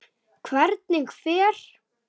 Hvernig fer?